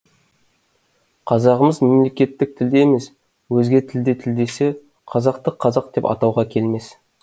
қазағымыз мемлекеттік тілде емес өзге тілде тілдессе қазақты қазақ деп атауға келмес